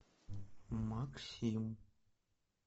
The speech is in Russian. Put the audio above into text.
максим